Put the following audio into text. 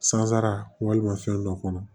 Sansara fɛn dɔ kɔnɔ